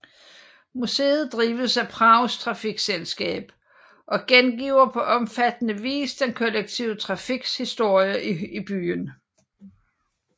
Museet drives af Prags trafikselskab og gengiver på omfattende vis den kollektive trafiks historie i byen